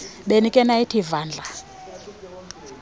ebenikhe nayithi vandla